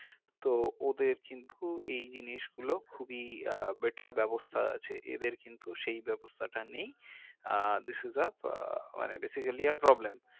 তো ওদের কিন্তু এই জিনিসগুলো খুবই better ব্যাবস্তা আছে এদের কিন্তু সেই ব্যাবস্তাটা নেই uh this is a uh মানে basically a problem